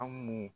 An mun